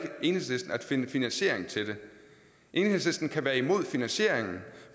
enhedslisten at finde finansiering til den enhedslisten kan være imod finansieringen